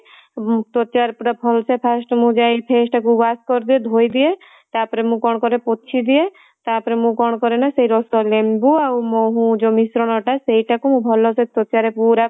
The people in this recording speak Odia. ତ୍ୱଚା ରେ ପୁରା ଭଲ ସେ first ମୁଁ ଯାଇ face ଟାକୁ wash କରିଦିଏ ଧୋଇଦିଏ ତାପରେ ମୁଁ କଣ କରେ ପୋଛିଦିଏ ତାପରେ ମୁଁ କଣ କରେ ନା ସେଇ ରସ ଲେମ୍ବୁ ଆଉ ମହୁ ସେ ମିଶ୍ରଣ ଟା ସେଇଟା କୁ ମୁଁ ଭଲ ସେ ତ୍ୱଚା ରେ ପୁରା